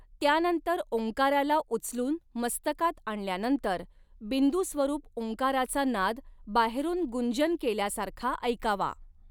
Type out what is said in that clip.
त्यानंतर ॐकाराला उचलून मस्तकात आणल्यानंतर बिंदुस्वरूप ॐकाराचा नाद बाहेरून गूंजन केल्यासारखा ऐकावा.